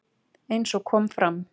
Eins og kom fram